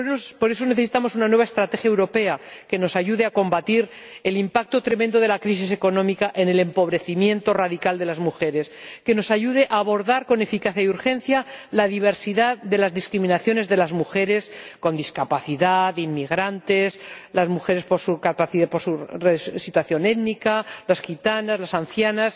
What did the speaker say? Por eso, necesitamos una nueva estrategia europea que nos ayude a combatir el impacto tremendo de la crisis económica en el empobrecimiento radical de las mujeres, que nos ayude a abordar con eficacia y urgencia la diversidad de las discriminaciones de las mujeres con discapacidad, inmigrantes, por su condición étnica, las gitanas, las ancianas